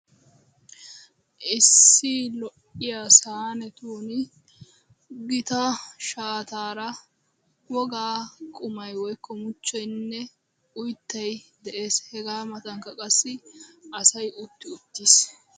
Issi lo'iya saanetuuni gita shaataara wogaa qumay woykko muchchoynne oyttay de'ees. Hegaa matankka qassi asay utti uttiis.